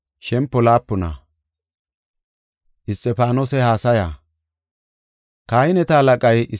Kahineta halaqay Isxifaanoseko, “Haysi tumee?” yaagidi oychis.